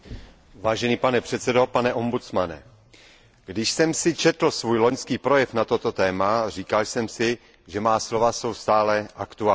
Vážený pane předsedo, pane ombudsmane, když jsem si četl svůj loňský projev na toto téma, říkal jsem si, že má slova jsou stále aktuální.